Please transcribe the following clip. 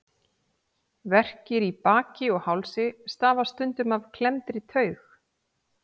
Verkir í baki og hálsi stafa stundum af klemmdri taug.